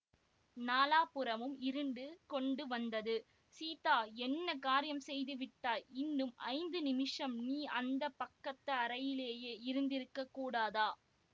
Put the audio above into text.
நாலாபுறமும் இருண்டு கொண்டு வந்தது சீதா என்ன காரியம் செய்து விட்டாய் இன்னும் ஐந்து நிமிஷம் நீ அந்த பக்கத்து அறையிலேயே இருந்திருக்க கூடாதா